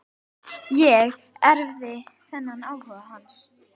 Ég erfði þennan áhuga hans.